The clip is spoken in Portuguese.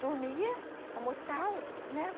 Dormia, almoçava, né?